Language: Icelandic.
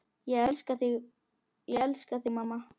Ég elska þig mamma.